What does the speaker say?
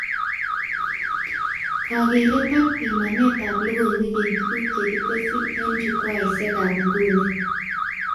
Kakeret ak pimanetab logoiwek eng tuguk chekitesyi eng chukwaishekab nguni